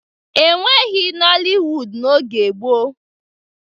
E nweghi noliwudu n'oge gboo.